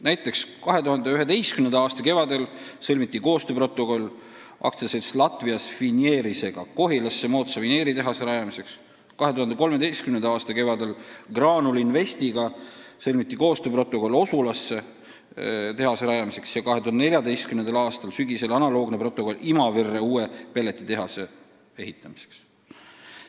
Näiteks 2011. aasta kevadel sõlmiti koostööprotokoll AS-iga Latvijas Finieris Kohilasse moodsa vineeritehase rajamiseks, 2013. aasta kevadel sõlmiti Graanul Investiga koostööprotokoll Osulasse tehase rajamiseks ja 2014. aasta sügisel analoogne protokoll Imaverre uue pelletitehase ehitamiseks.